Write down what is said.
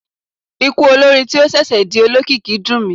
Ikú olórin tí ó ṣẹ̀ṣẹ̀ ń di olókìkí dùn mí.